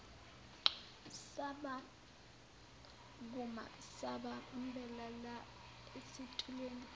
sasukuma sabambelela esitulweni